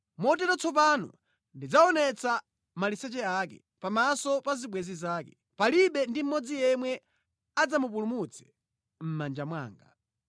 Motero tsopano ndidzaonetsa maliseche ake pamaso pa zibwenzi zake; palibe ndi mmodzi yemwe adzamupulumutse mʼmanja mwanga.